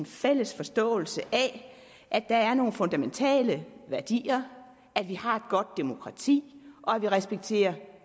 fælles forståelse af at der er nogle fundamentale værdier at vi har et godt demokrati at vi respekterer